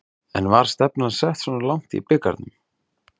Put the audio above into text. En var stefnan sett svona langt í bikarnum?